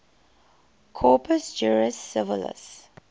corpus juris civilis